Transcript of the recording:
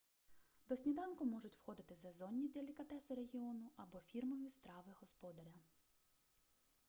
до сніданку можуть входити сезонні делікатеси регіону або фірмові страви господаря